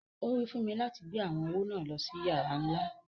Owí fún mi láti gbé awọn owó náà lọ sí yàrà nlá.